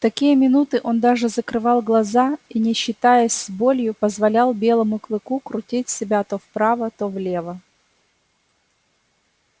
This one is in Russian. в такие минуты он даже закрывал глаза и не считаясь с болью позволял белому клыку крутить себя то вправо то влево